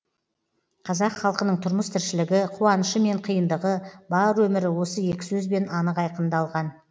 қазақ халқының тұрмыс тіршілігі қуанышы мен қиындығы бар өмірі осы екі сөзбен анық айқындалған